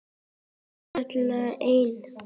kallaði einn.